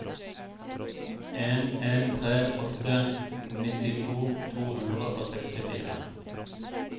en en tre åtte nittito to hundre og sekstifire